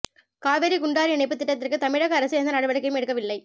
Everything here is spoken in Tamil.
காவிரி குண்டாறு இணைப்பு திட்டத்திற்கு தமிழக அரசு எந்த நடவடிக்கையும் எடுக்கவில்லை